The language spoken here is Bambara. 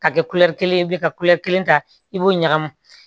Ka kɛ kelen ye bi ka kelen ta i b'o ɲagami